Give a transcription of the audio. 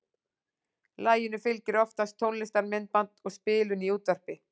Laginu fylgir oftast tónlistarmyndband og spilun í útvarpi.